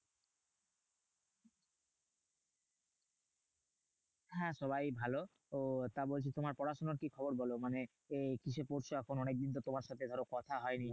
হ্যাঁ সবাই ভালো। ও তা বলছি তোমার পড়াশোনার কি খবর বোলো? মানে কিসে পড়ছো এখন? অনেকদিন তো তোমার সাথে ধরো কথা হয়নি।